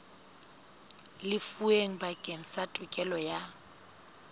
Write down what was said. lefuweng bakeng sa tokelo ya